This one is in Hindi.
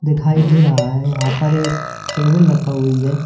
दिखाई दे रहा है यहां पर एक टेबल रखा हुई है।